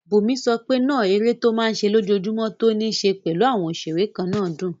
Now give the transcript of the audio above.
Bùnmi sọ pé náà eré tó máa n ṣe lójojúmọ́ tó ní ṣe pẹ̀lú àwọn òṣeré kannáà dùn